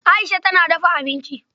Aisha tana dafa abinci.